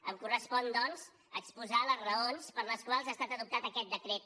em correspon doncs exposar les raons per les quals ha estat adoptat aquest decret